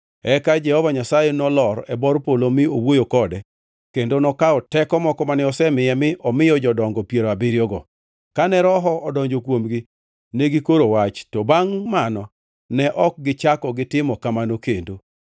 Eka Jehova Nyasaye nolor e bor polo mi owuoyo kode, kendo nokawo teko moko mane osemiye mi omiyo jodongo piero abiriyogo. Kane Roho odonjo kuomgi, ne gikoro wach, to bangʼ mano ne ok gichako gitimo kamano kendo.